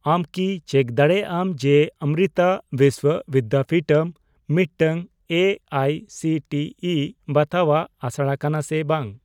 ᱟᱢ ᱠᱤ ᱪᱮᱠ ᱫᱟᱲᱮᱭᱟᱜᱼᱟ ᱡᱮ ᱚᱢᱢᱨᱤᱛᱟ ᱵᱤᱥᱥᱚ ᱵᱤᱫᱽᱫᱟᱯᱤᱴᱷᱚᱢ ᱢᱤᱫᱴᱟᱝ A I C T E ᱵᱟᱛᱟᱣᱟᱜ ᱟᱥᱲᱟ ᱠᱟᱱᱟ ᱥᱮ ᱵᱟᱝ ?